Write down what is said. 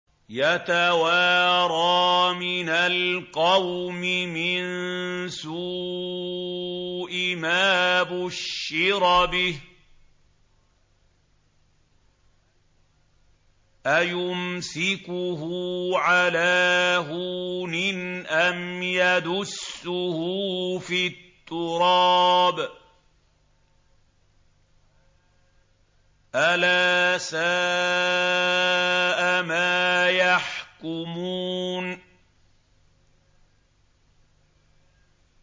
يَتَوَارَىٰ مِنَ الْقَوْمِ مِن سُوءِ مَا بُشِّرَ بِهِ ۚ أَيُمْسِكُهُ عَلَىٰ هُونٍ أَمْ يَدُسُّهُ فِي التُّرَابِ ۗ أَلَا سَاءَ مَا يَحْكُمُونَ